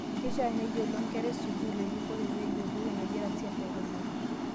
Keishia neyiolo nkera e sukuul erikore pee eyiolou enegira siasa akinura